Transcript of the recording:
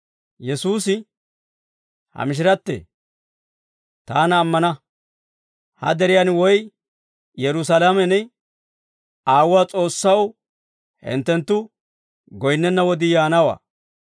Yesuusi, «Ha mishirattee, taana ammana; ha deriyaan woy Yerusaalamen Aawuwaa S'oossaw hinttenttu goyinnenna wodii yaanawaa.